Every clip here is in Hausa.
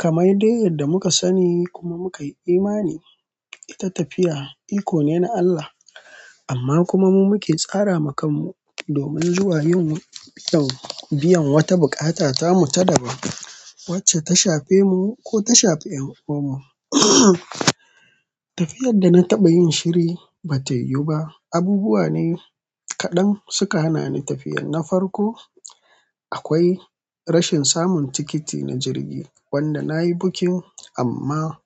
Kamar dai yadda muka sani kuma muka yi imani, ita tafiya iko ne na Allah. Amma kuma mu muke tsara wa kanmu domin zuwa yin biyan wata bukata ta mu ta dabba wacce ta shafe mu ko ta shafi 'yan uwanmu. Tafiyar da na taɓa yin shiri bata yiwu ba. Abubuwa ne kaɗan suka hana ni tafiyar. Na farko, akwai rashin samun tikiti na jirgi wanda na yi booking amma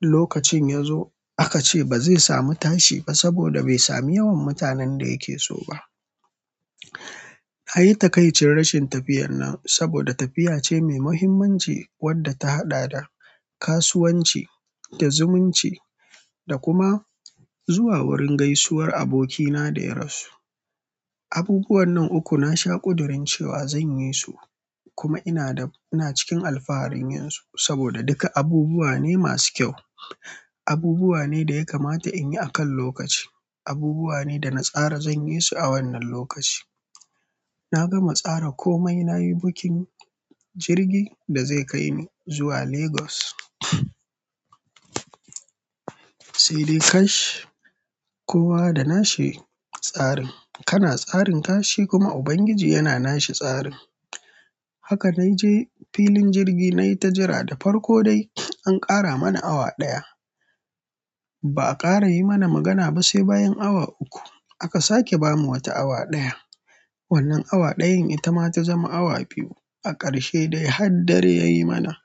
lokacin ya zo aka ce ba zai samu tashi ba saboda bai sami yawan mutanen da yake so ba. Na yi takaicin rashin tafiyar nan saboda tafiya ce mai muhimmanci wacce ta haɗa da kasuwanci, da zumunci da kuma zuwa wurin gaisuwar abokina da ya rasu. Abubuwan nan uku na shaƙudurin cewa zan yi su kuma ina cikin alfaharin yin su saboda duka abubuwa ne masu kyau, abubuwa ne da ya kamata in yi a kan lokaci, abubuwa ne da na tsara zan yi su a wannan lokaci. Na gama tsara komai, na yi booking jirgi da zai kai ni zuwa Lagos. Sai dai kash! Kowa da nashi tsarin. Kana tsarin tashe kuma Ubangiji yana nashi tsarin. Haka na je filin jirgi na yi ta jira, da farko dai an ƙara mana awa ɗaya. Ba a ƙara yi mana magana ba sai bayan awa uku aka sake ba mu wata awa ɗaya. Wannan awa ɗayan ita ma ta ta zama awa biyu, a ƙarshe dai har dare yayi mana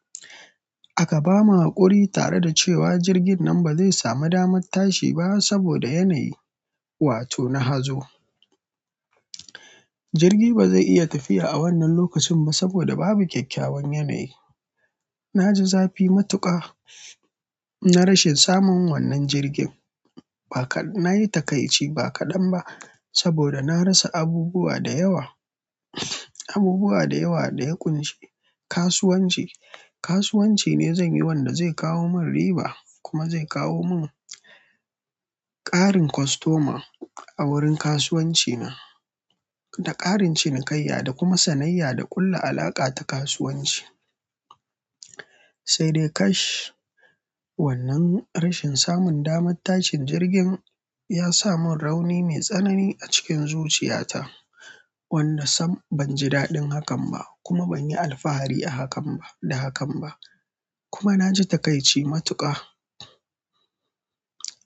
aka ba mu haƙuri tare da cewa jirgin nan ba zai samu damar tashi ba saboda yanayi, wato na hazo. Jirgi ba zai iya tafiya a wannan lokacin ba saboda babu kyakkyawan yanayi. Na ji zafi matuƙa na rashin samun wannan jirgin. Na yi taƙaici ba kaɗan ba saboda na rasa abubuwa da yawa, abubuwa da yawa da ya ƙunshi kasuwanci. Kasuwanci ne zan yi wanda zai kawo mun riba kuma zai kawo mun ƙarin kostoma a wurin kasuwanci na da ƙarin cinikayya da kuma sanayya da ƙulla alaƙa ta kasuwanci. Sai dai kash! Wannan rashin samun damar tashin jirgin ya sa mun rauni mai tsanani a cikin zuciyata, wanda sam ban ji daɗin hakan ba, kuma ban yi alfahari sa hakan ba, kuma naji takaici matuƙa.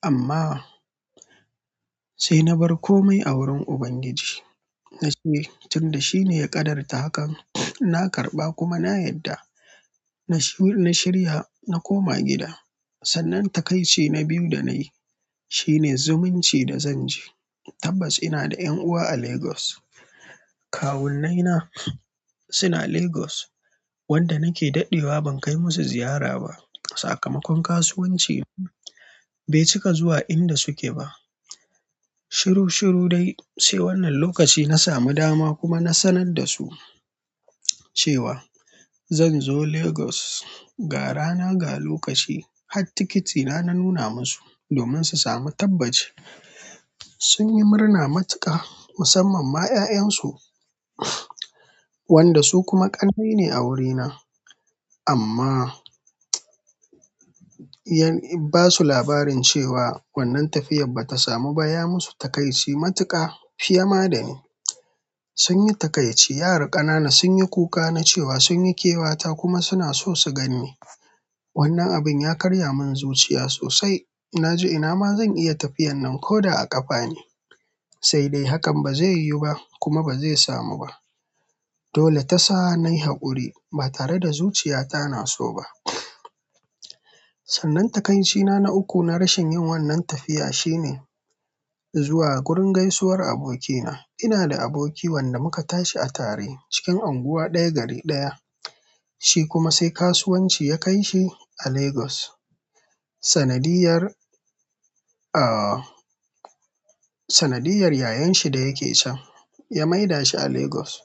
Amma sai na bar komai a wurin Ubangiji. Na ce tun da shi ne ya ƙadarta hakan, na karɓa kuma na yarda. Na shirya na koma gida. Sannan taƙaice na biyu da na yi shivne zumunci da zan je. Tabbas ina da 'yan uwa a Lagos. Kawunnaina suna Lagos wanda nake daɗewa ban kai musu ziyara ba. Sakamakon kasuwanci bai cika zuwa inda suke ba. Shiru-shiru dai sai wannan lokaci na samu dama kuma na sanar da su cewa zan zo Lagos ga rana ga lokaci har tikitina na nuna musu domin su samu tabbaci sun yi murna matuƙa musamman ma 'ya'yansu wanda su kuma ƙannai ne a wurina. Amma in ba su labarin cewa wannan tafiyar bata samu baya musu taƙaici matuƙa fiye ma da ni. Sun yi taƙaici. 'Yara ƙanana sun yi kuka na cewa sun yi kewata kuma suna so su gan ni. Wannan abin ya karya mun zuciya sosai. Na ji ina ma zan iya tafiyar nan ko da a ƙafa ne. Sai dai hakan ba zai yiwu ba kuma ba zai samu ba. Dole ta sa nayi haƙuri ba tare da zuciyata na so ba. Sannan taƙaici na uku na rashin yin wannan tafiya shine zuwa wurin gaisuwar abokina. Ina da aboki wanda muka tashi a tare cikin unguwa ɗaya gari ɗaya. Shi kuma sai kasuwanci ya kaishi a Lagos sanadiyyar sanadiyar yayansa da yake can ya maida shi a Lagos.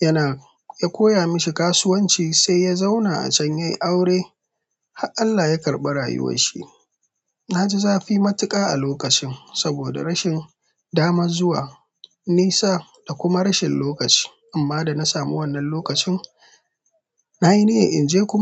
Yana ya koya mashi kasuwanci sai ya zauna a can yayi aure har Allah ya karɓi rayuwarshi na ji zafi matuƙa a lokacin saboda rashin damar zuwa nisa da kuma rashin lokaci. Amma da na samu wannan lokacin na yi niyyar in je kuma.